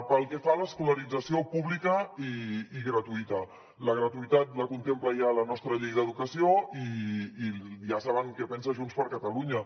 pel que fa a l’escolarització pública i gratuïta la gratuïtat la contempla ja la nostra llei d’educació i ja saben què pensa junts per catalunya